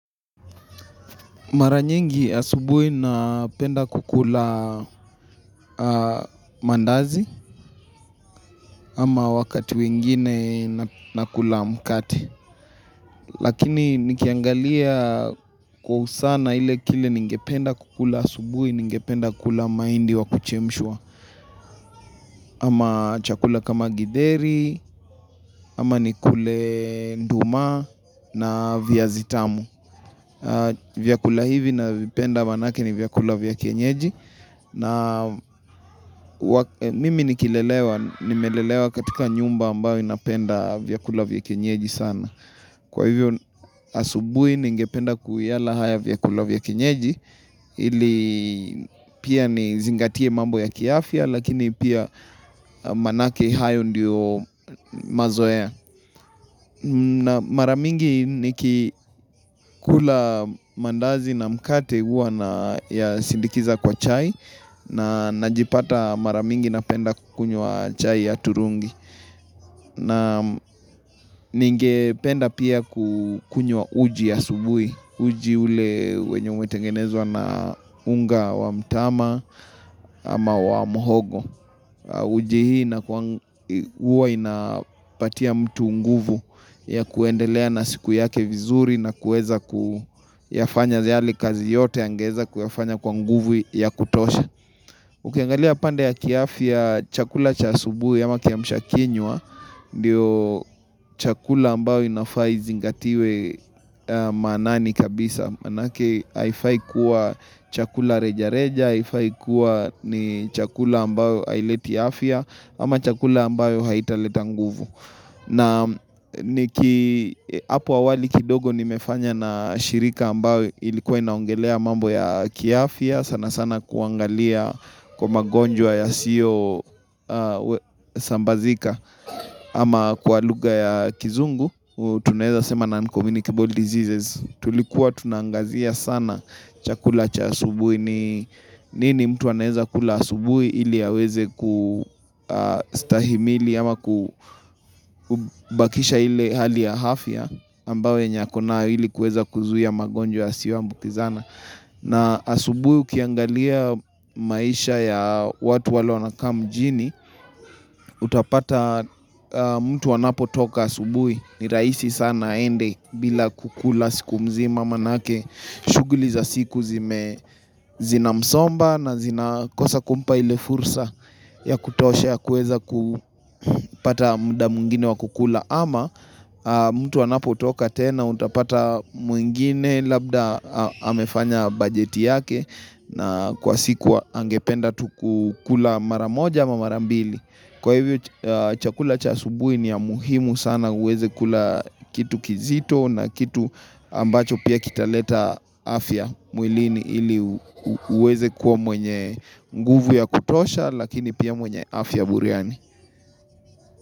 Mara nyingi asubui napenda kukula mandazi ama wakati wengine nakula mkati. Lakini nikiangalia kwa usana ile kile ningependa kukula asubui ningependa kula maindi wa kuchemshwa. Ama chakula kama githeri, ama nikule nduma na viazi tamu. Vyakula hivi navipenda manake ni vyakula vya kienyeji na mimi nikilelewa, nimelelewa katika nyumba ambayo inapenda vyakula vya kienyeji sana Kwa hivyo asubui ningependa kuwiala haya vyakula vya kienyeji ili pia nizingatie mambo ya kiafya lakini pia manake hayo ndiyo mazoea na mara mingi nikikula mandazi na mkate uwa nayasindikiza kwa chai na najipata mara mingi napenda kukunywa chai ya turungi na ningependa pia kukunywa uji asubui Uji ule wenye umetengenezwa na unga wa mtama ama wa mhogo Uji hii huwa inapatia mtu nguvu ya kuendelea na siku yake vizuri na kueza kuyafanya yale kazi yote angeeza kuyafanya kwa nguvu ya kutosha Ukiangalia pande ya kiafya chakula cha asubui ama kiamsha kinywa Ndio chakula ambayo inafaa izingatiwe maqnani kabisa manake haifai kuwa chakula reja reja, haifai kuwa ni chakula ambayo aileti afya, ama chakula ambayo haitaleta nguvu. Na niki, hapo awali kidogo nimefanya na shirika ambayo ilikuwa inaongelea mambo ya kiafya, sana sana kuangalia kwa magonjwa yasio sambazika, ama kwa lugha ya kizungu, tunaeza sema Non Communicable Diseases Tulikuwa tunaangazia sana chakula cha asubui ni nini mtu anaeza kula asubui ili aweze kustahimili ama kubakisha ili hali ya afya ambao yenye akona ili kueza kuzuia magonjwa yasio ambukizana na asubui ukiangalia maisha ya watu wale wanakaa mjini Utapata mtu anapo toka asubui ni raisi sana aende bila kukula siku mzima manake shuguli za siku zina msomba na zina kosa kumpa ile fursa ya kutosha ya kueza kupata muda mwingine wa kukula ama mtu anapo toka tena utapata mwingine labda amefanya bajeti yake na kwa siku angependa tu kukula mara moja ama mara mbili Kwa hivyo chakula cha asubui ni ya muhimu sana uweze kula kitu kizito na kitu ambacho pia kitaleta afya mwilini ili uweze kuwa mwenye nguvu ya kutosha lakini pia mwenye afya buriani.